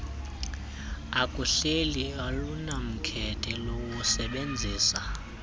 ekuhleni alunamkhethe lusebenzisa